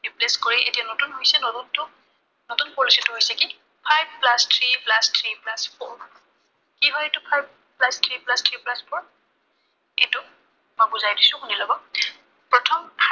replace কৰি এতিয়া নতুন হৈছে। নতুনটো, নতুন policy টো হৈছে কি five plus three plus three plus four কি হয় এইটো, five plus three plus three plus four এইটো মই বুজাই দিছো, শুনি লব। প্ৰথম